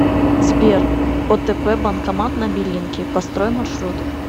сбер отп банкомат на белинке построй маршрут